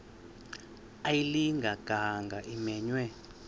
ayilinga gaahanga imenywe